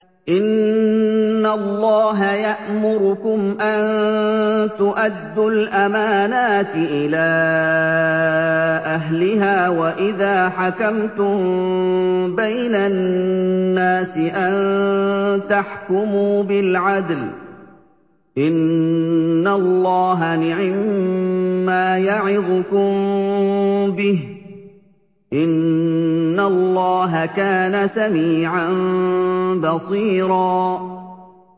۞ إِنَّ اللَّهَ يَأْمُرُكُمْ أَن تُؤَدُّوا الْأَمَانَاتِ إِلَىٰ أَهْلِهَا وَإِذَا حَكَمْتُم بَيْنَ النَّاسِ أَن تَحْكُمُوا بِالْعَدْلِ ۚ إِنَّ اللَّهَ نِعِمَّا يَعِظُكُم بِهِ ۗ إِنَّ اللَّهَ كَانَ سَمِيعًا بَصِيرًا